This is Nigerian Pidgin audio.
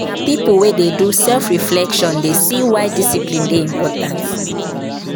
Na pipo wey dey do self-reflection dey see why discipline dey important.